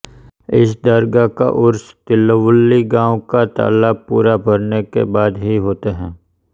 इस दर्गाह का उर्स तिलवल्लि गाँव का तालाब पूरा भरने के बाद हि होता है